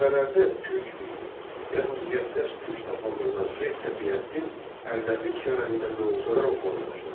Mənbələrdə Türk piri, yəni müqəddəs Türk adlandırılan Şeyx Səfiyyəddin Ərdəbil şəhərində mövzələr oxumağa başladı.